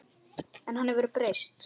En hann hefur breyst.